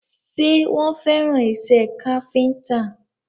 Ṣé wọ́n fẹ́ràn isẹ́ káfíntà?